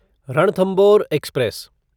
Ranthambore express